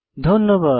ধন্যবাদ